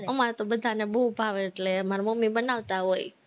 અમારે તો બધાને બોવ ભાવે એટલે મારી મમ્મી બનાવતા હોય